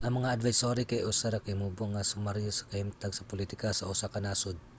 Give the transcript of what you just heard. ang mga advisory kay usa ra ka mubo nga sumaryo sa kahimtang sa politika sa usa ka nasud